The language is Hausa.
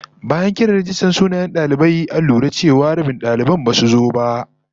Bayan kiran rajistan sunayen dalibai, an lura cewa rabin daliban basu zo ba